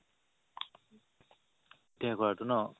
ITI কৰাতো ন